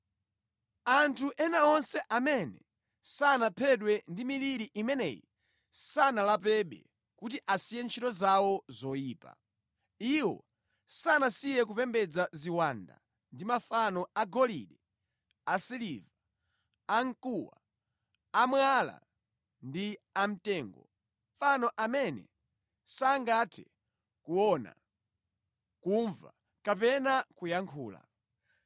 Anthu ena onse amene sanaphedwe ndi miliri imeneyi sanalapebe kuti asiye ntchito zawo zoyipa. Iwo sanasiye kupembedza ziwanda ndi mafano agolide, asiliva, amkuwa, amwala ndi amtengo, mafano amene sangathe kuona, kumva kapena kuyankhula.